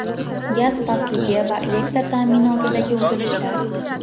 gaz pastligi va elektr ta’minotidagi uzilishlar.